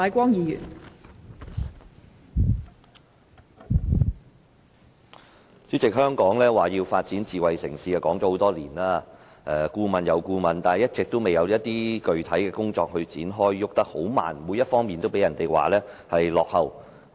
代理主席，香港提出發展智慧城市已有多年，當局擬備了一份又一份的顧問研究，但一直未有展開具體工作，進展十分緩慢，各方面都被人批評為落後。